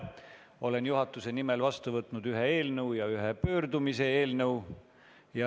Olen juhatuse nimel võtnud vastu ühe seaduse eelnõu ja ühe pöördumise eelnõu.